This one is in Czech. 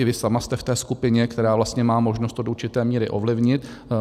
I vy sama jste v té skupině, která má možnost to do určité míry ovlivnit.